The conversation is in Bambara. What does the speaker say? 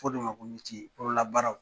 Fɔ de ma meciye bolola baaraw